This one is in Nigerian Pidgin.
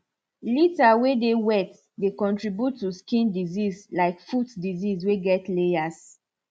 litter way dey wet dey contribute to skin disease like foot disease way get layers